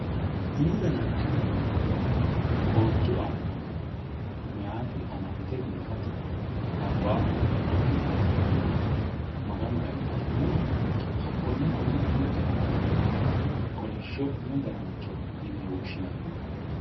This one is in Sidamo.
Umu danancho yinannihu qoonchu aana mayiiti amaxite biifate labbahuno mudhe biifano gede Maganu eenna afi'rinoha hakkoe honne uminkera nooha kolishsho dananchoho yinne woshshinanni.